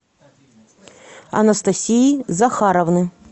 анастасии захаровны